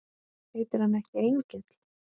Heitir hann ekki Engill?